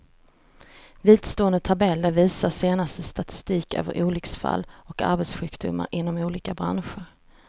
Vidstående tabeller visar senaste statistik över olycksfall och arbetssjukdomar inom olika branscher.